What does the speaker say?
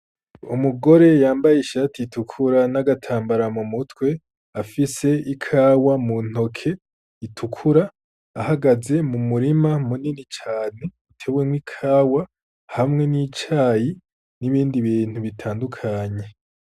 Umugore yambaye ishati itukura n'agatambara mu mutwe afise ikawa mu ntoke itukura, ahagaze mu murima munini cane utewemwo ikawa hamwe n'icayi n'ibindi bintu bitandukanye.